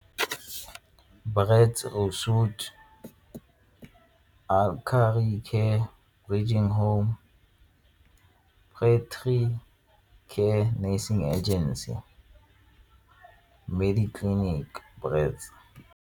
care, aging home, factory care nursing agency mme di-clinic .